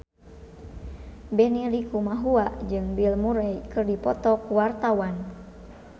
Benny Likumahua jeung Bill Murray keur dipoto ku wartawan